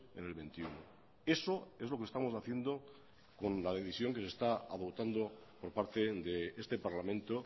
en el veintiuno eso es lo que estamos haciendo con la decisión que se está adoptando por parte de este parlamento